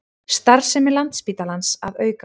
Starfsemi Landspítalans að aukast